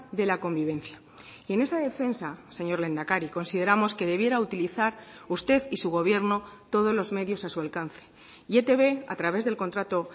de la convivencia y en esa defensa señor lehendakari consideramos que debiera utilizar usted y su gobierno todos los medios a su alcance y etb a través del contrato